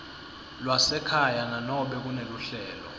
lwasekhaya nanobe kuneluhlelo